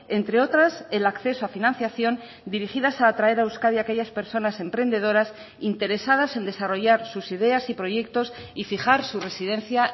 entre otras el acceso a financiación dirigidas a traer a euskadi aquellas personas emprendedoras interesadas en desarrollar sus ideas y proyectos y fijar su residencia